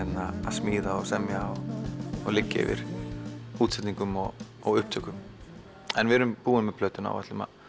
smíða og semja og liggja yfir útsetningum og og upptökum en við erum búin með plötuna og